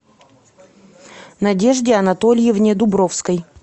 надежде анатольевне дубровской